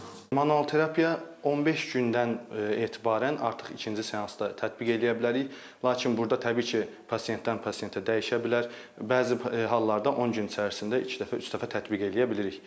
Manual terapiya 15 gündən etibarən artıq ikinci seansda tətbiq eləyə bilərik, lakin burda təbii ki, pasientdən pasientə dəyişə bilər, bəzi hallarda 10 gün ərzində iki dəfə, üç dəfə tətbiq eləyə bilirik.